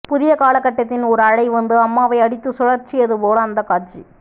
புதிய காலகட்டத்தின் ஓர் அலை வந்து அம்மாவை அடித்து சுழற்றியது போல அந்தக்காட்சி